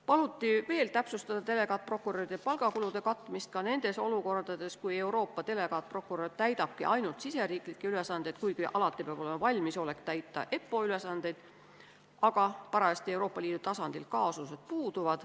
Paluti veel täpsustada delegaatprokuröride palgakulude katmist ka nendes olukordades, kus Euroopa delegaatprokurör täidabki ainult riigisiseid ülesandeid, sest kuigi alati peab olema valmisolek täita EPPO ülesandeid, võivad parajasti Euroopa Liidu tasandil kaasused puududa.